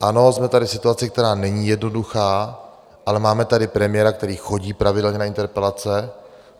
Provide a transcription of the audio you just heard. Ano, jsme tady v situaci, která není jednoduchá, ale máme tady premiéra, který chodí pravidelně na interpelace.